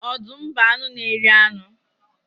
Ọdụm bụ anụ n'eri anu.